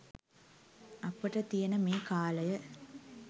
අපට තියෙන මේ කාලය